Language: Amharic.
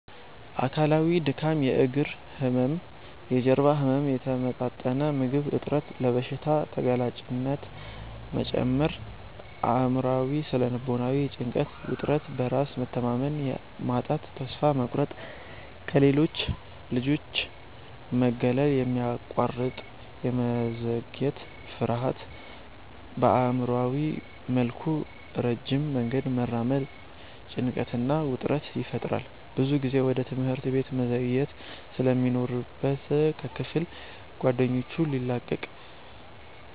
አካላዊ:-ድካም፣ የእግር ህመም፣ የጀርባ ህመም፣ የተመጣጠነ ምግብ እጥረት፣ ለበሽታ ተጋላጭነት መጨመር። አእምሯዊ / ስነ-ልቦናዊ:-ጭንቀት፣ ውጥረት፣ በራስ መተማመን ማጣት፣ ተስፋ መቁረጥ፣ ከሌሎች ልጆች መገለል፣ የማያቋርጥ የመዘግየት ፍርሃት። በአእምሯዊ መልኩ ረጅም መንገድ መራመድ ጭንቀትና ውጥረት ይፈጥራል። ብዙ ጊዜ ወደ ትምህርት ቤት መዘግየት ስለሚኖርበት ከክፍል ጓደኞቹ ሊላቀቅ